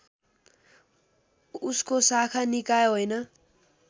उसको शाखा निकाय होइन